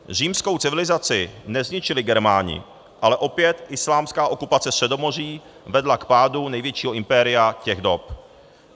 Římskou civilizaci nezničili Germáni, ale opět islámská okupace Středomoří vedla k pádu největšího impéria těch dob.